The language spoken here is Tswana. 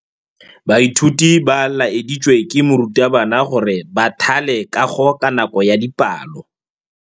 Baithuti ba laeditswe ke morutabana gore ba thale kagô ka nako ya dipalô.